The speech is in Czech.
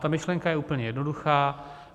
Ta myšlenka je úplně jednoduchá: